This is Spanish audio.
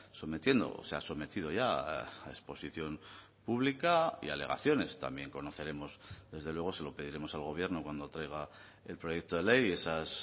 sometiendo se ha sometido ya a exposición pública y alegaciones también conoceremos desde luego se lo pediremos al gobierno cuando traiga el proyecto de ley esas